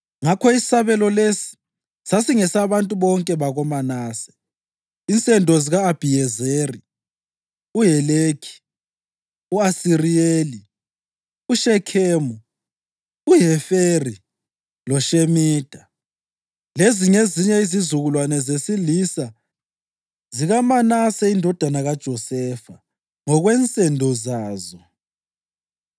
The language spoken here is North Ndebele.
Ngakho isabelo lesi sasingesabantu bonke bakoManase, insendo zika-Abhiyezeri, uHelekhi, u-Asiriyeli, uShekhemu, uHeferi loShemida. Lezi ngezinye izizukulwane zesilisa zikaManase indodana kaJosefa ngokwensendo zazo.